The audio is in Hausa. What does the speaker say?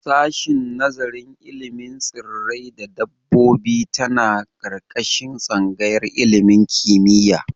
Sashin nazarin ilimin tsirrai da dabbobi tana ƙarƙashin tsangayar ilimin kimiyya.